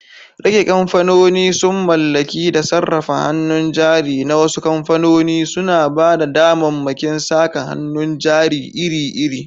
Rike kamfanoni sun mallaki da sarrafa hannun jari na wasu kamfanoni, suna ba da damammakin saka hannun jari iri-iri.